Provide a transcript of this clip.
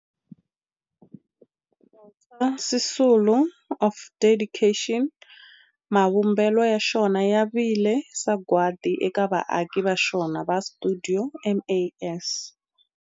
Walter Sisulu Square of Dedication, mavumbelo ya xona ya vile sagwadi eka vaaki va xona va stuidio MAS.